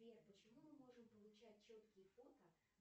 сбер почему мы можем получать четкие фото